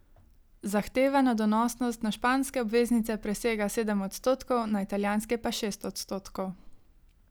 Zahtevana donosnost na španske obveznice presega sedem odstotkov, na italijanske pa šest odstotkov.